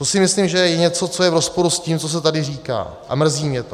To si myslím, že je něco, co je v rozporu s tím, co se tady říká, a mrzí mě to.